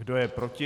Kdo je proti?